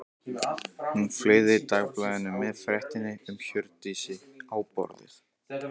Hún fleygði dagblaðinu með fréttinni um Hjördísi á borðið.